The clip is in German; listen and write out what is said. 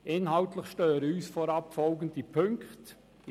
Inhaltlich stören uns vorab folgende Punkte.